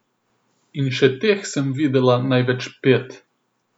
In še teh sem videla največ pet.